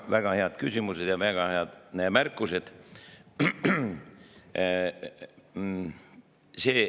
Väga head küsimused ja väga head märkused.